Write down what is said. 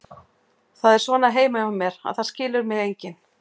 Það er svona heima hjá mér, að það skilur mig enginn.